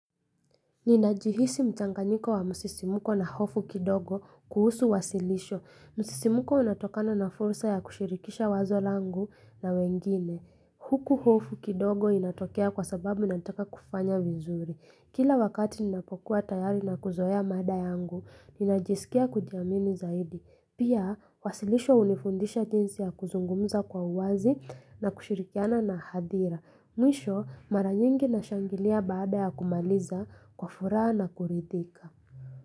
Ninajihisi mchanganyiko wa msisimuko na hofu kidogo kuhusu wasilisho. Msisimuko unatokana na fursa ya kushirikisha wazo langu na wengine. Huku hofu kidogo inatokea kwa sababu ninataka kufanya vizuri. Kila wakati ninapokuwa tayari na kuzoea mada yangu, ninajisikia kujiamini zaidi. Pia, wasilisho hunifundisha jinsi ya kuzungumza kwa uwazi na kushirikiana na hadhira. Mwisho mara nyingi nashangilia baada ya kumaliza kwa furaha na kuridhika.